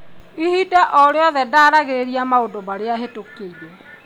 ĩbinda o rĩothe ndaragĩrĩria maundu maria bitukĩire.